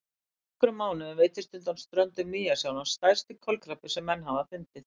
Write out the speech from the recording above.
Fyrir nokkrum mánuðum veiddist undan ströndum Nýja-Sjálands stærsti kolkrabbi sem menn hafa fundið.